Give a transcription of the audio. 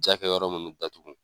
Jakɛ yɔrɔ munnu datugu.